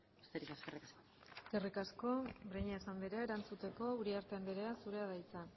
besterik ez eskerrik asko eskerrik asko breñas anderea erantzuteko uriarte anderea zurea da hitza